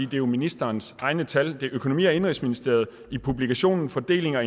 det er ministerens egne tal det er økonomi og indenrigsministeriet i publikationen fordeling og